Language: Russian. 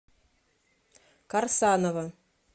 карсанова